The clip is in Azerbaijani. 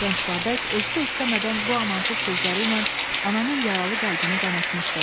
Gənc Babək özü də istəmədən bu amansız sözləri ilə ananın yaralı qəlbini qanatmışdı.